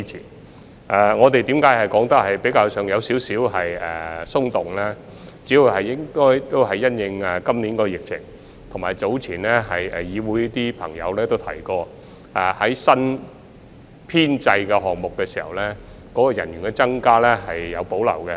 至於我們的說法為何較為寬鬆，這主要是因應今年的疫情，以及早前有議會朋友提過對新編制項目的人員增加有所保留。